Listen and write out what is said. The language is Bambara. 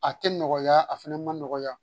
A tɛ nɔgɔya a fana ma nɔgɔya